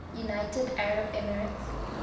united arab emirates